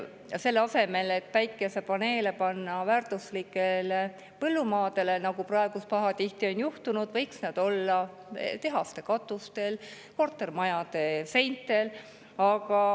Selle asemel, et panna päikesepaneele väärtuslikele põllumaadele, nagu praegu pahatihti on juhtunud, võiks need olla tehaste katustel, kortermajade seintel.